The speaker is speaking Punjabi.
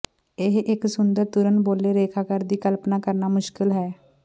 ਇਹ ਇੱਕ ਸੁੰਦਰ ਤੁਰਨ ਬੋਲੇ ਰੇਖਾਕਾਰ ਦੀ ਕਲਪਨਾ ਕਰਨਾ ਮੁਸ਼ਕਲ ਹੈ